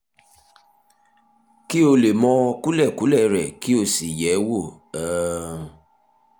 kí ó lè mọ kúlẹ̀kúlẹ̀ rẹ̀ kí ó sì yẹ̀ ẹ́ wò um